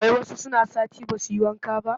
Wai wasu suna sati ba su yi wanka ba